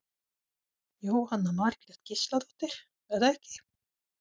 Jóhanna Margrét Gísladóttir: Er það ekki?